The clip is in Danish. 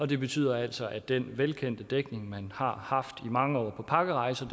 det betyder altså at den velkendte dækning man har haft i mange år på pakkerejser